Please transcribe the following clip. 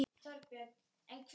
Ég sakna Sigga míns.